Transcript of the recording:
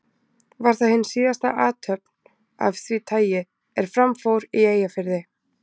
Var það hin síðasta athöfn af því tagi, er fram fór í Eyjafirði.